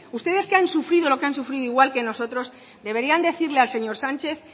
ustedes que han sufrido lo que han sufrido igual que nosotros deberían decirle al señor sánchez